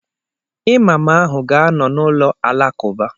Imaam ahụ ga-anọ n'ụlọ Alakụba.